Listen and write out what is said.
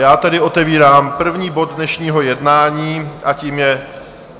Já tedy otevírám první bod dnešního jednání a tím je